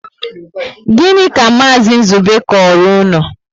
Gịnị ka Maazi Nzube koro unu?